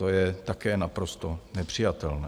To je také naprosto nepřijatelné.